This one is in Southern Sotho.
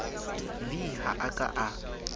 v ha a ka a